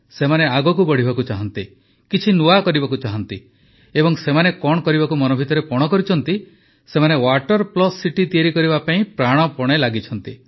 ସେମାନେ ଆଗକୁ ବଢ଼ିବାକୁ ଚାହାନ୍ତି କିଛି ନୂଆ କରିବାକୁ ଚାହାନ୍ତି ଏବଂ ସେମାନେ କଣ କରିବାକୁ ମନ ଭିତରେ ପଣ କରିଛନ୍ତି ସେମାନେ ୱାଟର ପ୍ଲସ୍ ସିଟି ତିଆରି କରିବା ପାଇଁ ପ୍ରାଣପଣେ ଲାଗିଛନ୍ତି